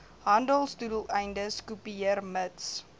handelsdoeleindes kopieer mits